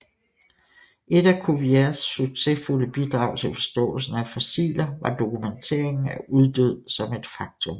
Et af Cuviers succesfulde bidrag til forståelsen af fossiler var dokumenteringen af uddød som et faktum